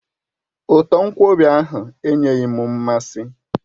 Uto nkwobi ahụ enyeghị m mmasị